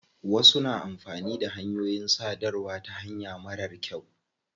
Wasu na amfani da hanyoyin sadarwa ta hanya marar kyau.